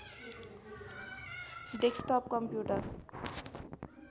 desktop computer